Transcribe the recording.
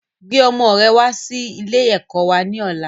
Gbe ọmọ rẹ wà sì ilé ẹ̀kọ́ wá ní ọ̀la!